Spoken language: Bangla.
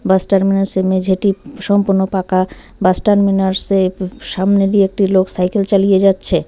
বাস টার্মিনাসের -এর মেঝেটি উম সম্পূর্ণ পাকা বাস টার্মিনাসের -এর সামনে দিয়ে একটি লোক সাইকেল চালিয়ে যাচ্ছে।